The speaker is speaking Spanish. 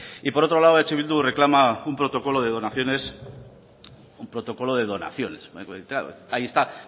y por otro lado eh bildu reclama un protocolo de donaciones ahí está